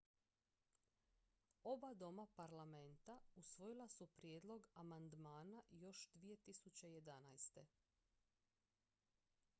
oba doma parlamenta usvojila su prijedlog amandmana još 2011